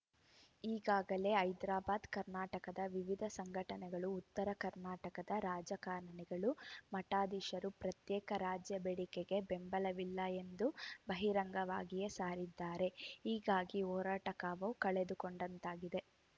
ಈಗಾಗಲೇ ಹೈದರಾಬಾದ್‌ ಕರ್ನಾಟಕದ ವಿವಿಧ ಸಂಘಟನೆಗಳು ಉತ್ತರ ಕರ್ನಾಟಕದ ರಾಜಕಾರಣಿಗಳು ಮಠಾಧೀಶರು ಪ್ರತ್ಯೇಕ ರಾಜ್ಯ ಬೇಡಿಕೆಗೆ ಬೆಂಬಲವಿಲ್ಲ ಎಂದು ಬಹಿರಂಗವಾಗಿಯೇ ಸಾರಿದ್ದಾರೆ ಹೀಗಾಗಿ ಹೋರಾಟ ಕಾವು ಕಳೆದುಕೊಂಡಂತಾಗಿದೆ